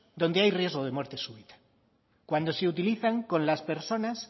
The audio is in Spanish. donde hay riesgo de muerte súbita cuando se utilizan con las personas